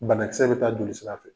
Banakisɛ be taa jolisira fɛ.